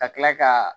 Ka kila ka